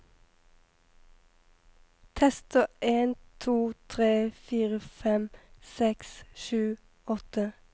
Tester en to tre fire fem seks sju åtte